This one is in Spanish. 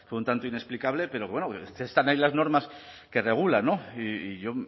fue un tanto inexplicable pero bueno están ahí las normas que regulan y yo